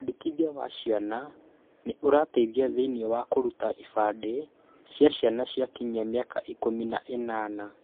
Wandĩkithia wa ciana nĩ ũrateithia thĩiniĩ wa kũruta ibandĩ cia ciana ciakinya mĩaka ikũmi na ĩnana.